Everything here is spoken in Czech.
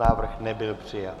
Návrh nebyl přijat.